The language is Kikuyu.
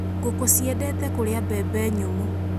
Ngũkũ ciendete kũria mbembe nyũmũ.